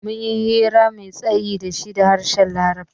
Mun yi hira mai tsayi da shi da harshen larabci.